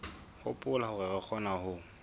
hopola hore re kgona ho